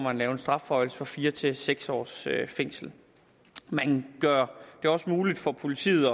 at lave en strafforhøjelse fra fire til seks års fængsel man gør det også muligt for politiet at